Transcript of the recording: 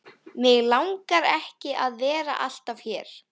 Mig langar ekki að vera alltaf hér.